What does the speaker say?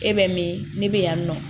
E bɛ min ne bɛ yan nɔ